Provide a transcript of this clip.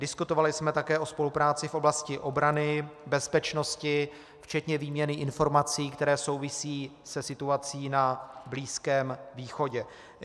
Diskutovali jsme také o spolupráci v oblasti obrany, bezpečnosti, včetně výměny informací, které souvisí se situací na Blízkém východě.